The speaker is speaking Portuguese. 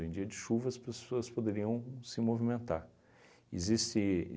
Em dia de chuva, as pessoas poderiam se movimentar. Existe